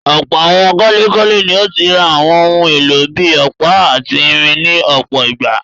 Ọ̀pọ̀ àwọn kọ́lékọ́lé ni ó ti rà àwọn ohun-èlò bí i ọ̀pá àti irin ní ọ̀pọ̀ ìgbà.